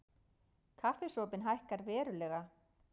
Kaffisopinn hækkar verulega